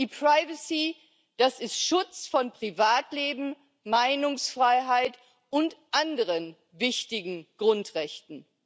E Privacy das ist Schutz von Privatleben, Meinungsfreiheit und anderen wichtigen Grundrechten.